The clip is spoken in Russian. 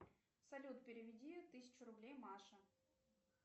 салют переведи тысячу рублей маше